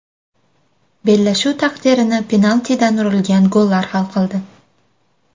Bellashuv taqdirini penaltidan urilgan gollar hal qildi.